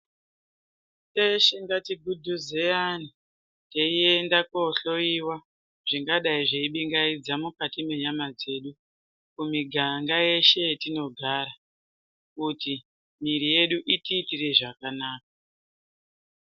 Teshe ngatichigudhuzeyane teyiyenda kohloyiwa zvingadai zveibingaidza mukati menyama dzedu kumiganga yeshe yetinogara kuti miri yedu itiitere zvakanaka.